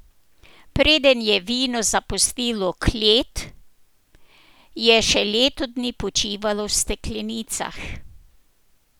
Preden je vino zapustilo klet, je še leto dni počivalo v steklenicah.